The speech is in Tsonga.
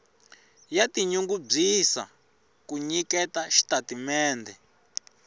ya tinyungubyisa ku nyiketa xitatimendhe